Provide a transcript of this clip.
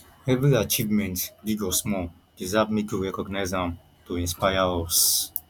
every achievement big or small deserve make we recognize am to inspire us